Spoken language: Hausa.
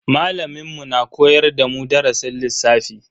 Malamin mu na koyar da mu darasin lissafi.